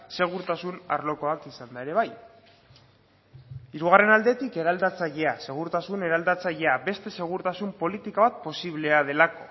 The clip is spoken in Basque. segurtasun arlokoak izanda ere bai hirugarren aldetik eraldatzailea segurtasun eraldatzailea beste segurtasun politika bat posiblea delako